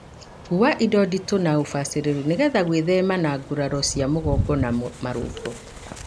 Kua indo nditũ na ũbacĩrĩrũ nĩgetha gwithema na nguraro cia mũgonga na marũngo.